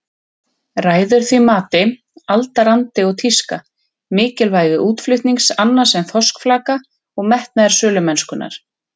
Ræður því mati aldarandi og tíska, mikilvægi útflutnings annars en þorskflaka og metnaður sölumennskunnar.